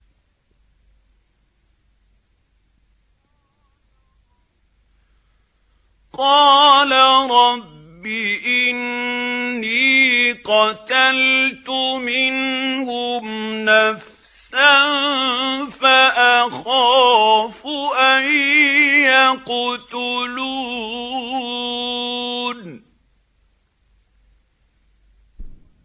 قَالَ رَبِّ إِنِّي قَتَلْتُ مِنْهُمْ نَفْسًا فَأَخَافُ أَن يَقْتُلُونِ